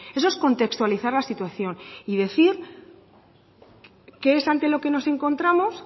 eso es contextualizar la situación y decir qué es ante lo que nos encontramos